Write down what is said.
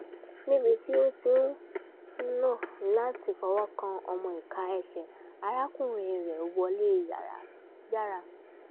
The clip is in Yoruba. níbi tí ó ti ń nà láti fọwọ́ kan ọmọ ìka ẹsẹ̀ arákùnrin rẹ̀ wọlé yára